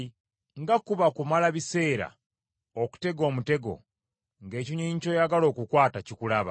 Nga kuba kumala biseera okutega omutego, ng’ekinyonyi ky’oyagala okukwata kikulaba,